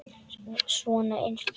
Svona eins og þetta!